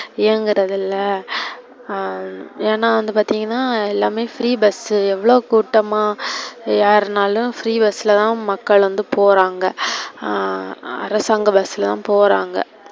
இயங்கிறது இல்ல. ஹம் ஏன்னா வந்து பாத்திங்கனா எல்லாமே free bus எவ்ளோ கூட்டமா ஏறுனாலும் free bus ல தான் மக்கள் வந்து போறாங்க, ஆஹ் அரசாங்க bus ல தான் போறாங்க.